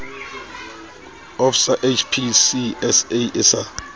of sa hpcsa e sa